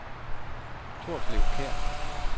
Torslev Kær